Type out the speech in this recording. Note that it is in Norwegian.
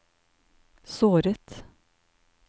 såret